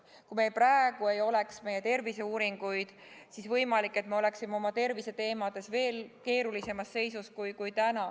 Kui meil praegu ei oleks terviseuuringuid, siis võimalik, et oleksime oma terviseteemades veel keerulisemas seisus kui nüüd.